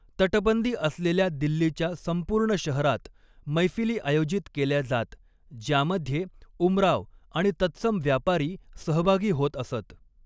तटबंदी असलेल्या दिल्लीच्या संपूर्ण शहरात मैफिली आयोजित केल्या जात, ज्यामध्ये उमराव आणि तत्सम व्यापारी सहभागी होत असत.